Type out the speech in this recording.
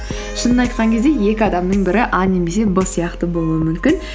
шынын айтқан кезде екі адамның бірі а немесе б сияқты болуы мүмкін